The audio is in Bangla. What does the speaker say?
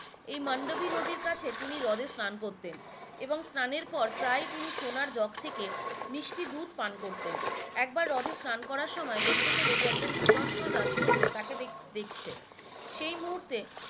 এই মন্দবী নদীর কাছে তিনি হ্রদে স্রান করতেন এবং এবং স্রানের পর প্রায়ই তিনি সোনার জক থেকে মিষ্টি দুধ পান করতেন একবার হ্রদে স্রান করার সময় দেখতে পেলো যে একজন সুদর্শন রাজপুত্র তাকে দেখছে সেই মুহূর্তে